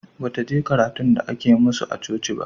Bataje karatun da ake masu a coci ba